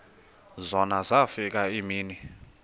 zona zafika iimini